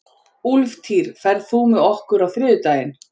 Úlftýr, ferð þú með okkur á þriðjudaginn?